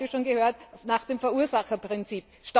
Wir haben das heute schon gehört nach dem Verursacherprinzip.